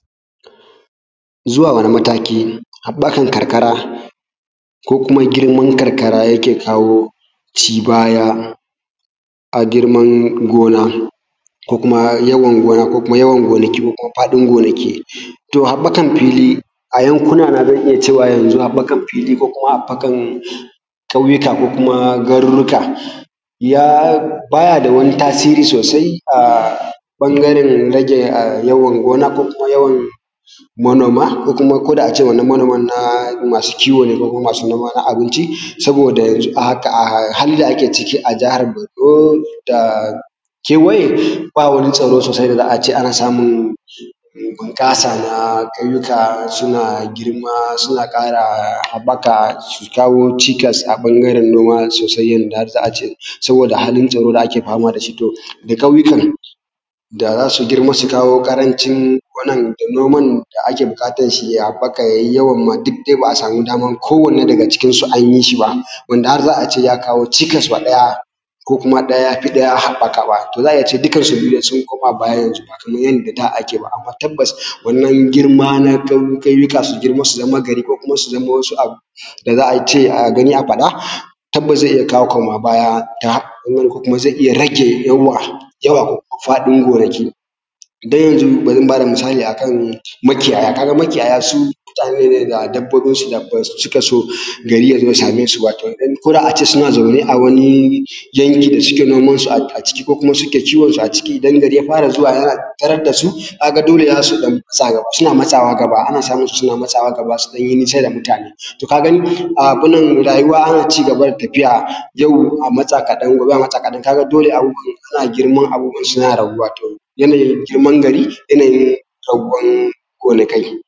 Zuwa wani mataki haɓɓakan karkara ko kuma girman karkara yake kawo cibaya a girman gona ko kuma yawan gona ko kuma yawan gonaki ko kuma faɗin gonaki, to haɓɓakan fili a yankuna n azan iya cewa yanzun haɓɓakan fili ko kuma haɓɓakan ƙauyuka ko kuma garuruka, ya baya da wani tasiri sosai a ɓangaren yawan rage gona ko kuma yawan manoma, ko kuma ko da ace wannan manoman na masu kiwo ne ko kuma masu noma na abinci, saboda yanzu a haka a halin da ake ciki a jahar Borno da kewaye ba wani tsaro sosai da za ace ana samun bunƙasa na ƙauyuka suna girma suna ƙara haɓɓaka su kawo cikas a ɓangaren noma sosai har yanda za ace saboda halin tsaro da ake fama dashi, to da ƙauyukan zasu girma su kawo ƙarancin gonan da noman da ake buƙatan shi ya haɓɓaka yayi yawan ma duk dai ba a samu daman ko wanne daga cikin su anyi shi ba, wanda har za ace ya kawo cikas ma ɗaya ko kuma ɗaya yafi ɗaya haɓɓaka ba, to za a iya cewa dukkan su biyu sun koma baya yanzu haka, ba Kaman yanda da ake ba, amma tabbas wannan girma na ƙauyuka su girma su zama gari ko kuma su zama wasu abu da za a gani a faɗa, tabbas zai iya kawo koma baya ta nan, ko kuma zai iya rage yawan faɗin gonaki, don yanzun bari na bada misali akan makiyaya, ka ga makiyaya su mutane ne da dabbobin su da basu cika so gari yazo ya same su ba, ko da ace suna zaune a wani yanki da suke noman su a ciki ko kuma suke kiwon su a ciki, idan gari ya fara zuwa ana tarar da su, ka ga dole zasu matsawa gaba, ana samun su suna matsawa gaba su ɗan yi nisa da mutane, to ka gani abunnan rayuwa ana cigaba da tafiya, yau a matsa kaɗan gobe a matsa kaɗan, ka ga dole abun yazo yana girma, abubuwan suna girma, yanayin girman gari yanayi kewayen gari gonakai.